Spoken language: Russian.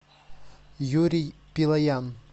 юрий пилоян